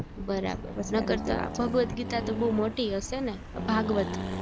બરાબર નકર તો ભગવત ગીતા તો બૌ મોટી હયશે ને અ ભાગવત